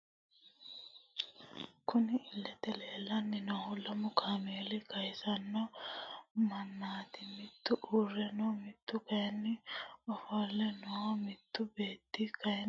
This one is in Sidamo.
Kurri iilete leellani noohu lamu kameera kayiisano manaati mittu uure no mittu kayiini ofolle no mittu beeti kayiini badhee higge no.